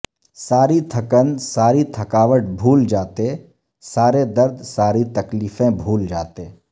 ساری تھکن ساری تھکاوٹ بھول جاتے سارے درد ساری تکلیفیں بھول جاتے